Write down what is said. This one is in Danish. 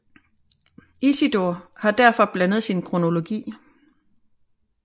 Isidor har derfor blandet sin kronologi